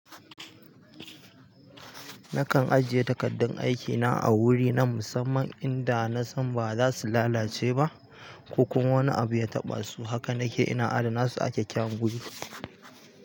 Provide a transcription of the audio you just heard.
Nakan ajiye takardun aikina a wuri na musamman inda na san ba za su lalace ba ko kuma wani abu ya taɓa su. Haka nake ina adana su a kyakkyawan wuri.